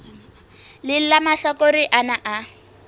leng la mahlakore ana a